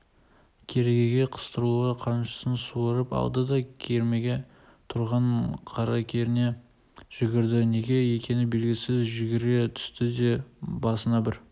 керегеге қыстырулы қамшысын суырып алды да кермеде тұрған қаракеріне жүгірді неге екені белгісіз жүгіре түсті де басына бір